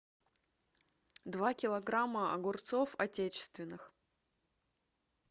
два килограмма огурцов отечественных